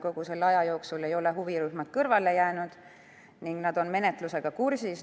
Kogu selle aja jooksul ei ole huvirühmad kõrvale jäänud, nad on menetlusega kursis.